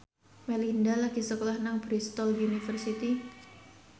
Melinda lagi sekolah nang Bristol university